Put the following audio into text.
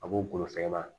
A b'o bolofɛ